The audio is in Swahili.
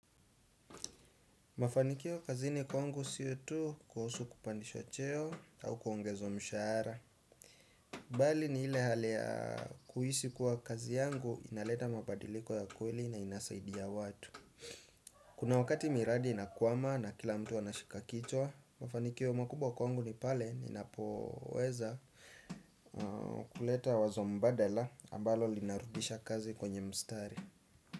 Mafanikio kazini kwangu sio tu kuhusu kupandishwa cheo au kuongezwa mshahara bali ni ile hali ya kuhisi kuwa kazi yangu inaleta mabadiliko ya kweli na inasaidi ya watu. Kuna wakati miradi inakwama na kila mtu anashika kichwa. Mafanikio makubwa kwangu ni pale ninapoweza kuleta wazo mbadala ambalo linarudisha kazi kwenye mstari.